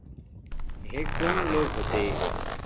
हे कोण लोक होते?